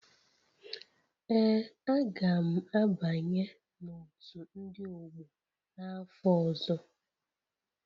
Ee, a ga m abanye na otu ndị ọgbọ n'afọ ọzọ